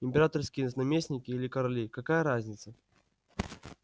императорские наместники или короли какая разница